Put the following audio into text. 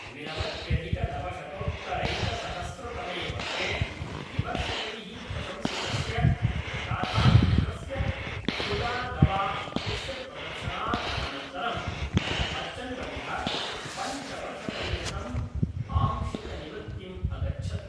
द्विनवत्यधिकनवशतोत्तरैकसहस्रतमे वर्षे विमर्शकैः प्रशंसितस्य गाथाचित्रस्य खुदा गवा इत्यस्य प्रदर्शनात् अनन्तरं बच्चन्वर्यः पञ्चवर्षपर्यन्तम् आंशिकनिवृत्तिम् अगच्छत्।